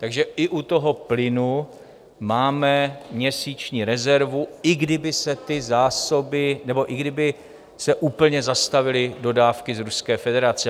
Takže i u toho plynu máme měsíční rezervu, i kdyby se ty zásoby... nebo i kdyby se úplně zastavily dodávky z Ruské federace.